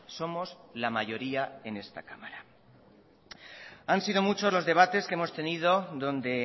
somos la mayoría en esta cámara han sido muchos los debates que hemos tenido donde